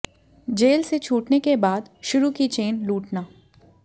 jail से छूटने के बाद शुरू की चेन लूटना